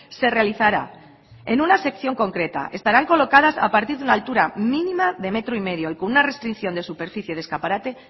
se realizará en una sección concreta estarán colocadas a partir de una altura mínima de metro y medio y con una restricción de superficie de escaparate